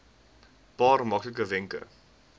paar maklike wenke